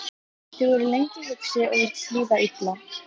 Þau voru lengi hugsi og virtist líða illa.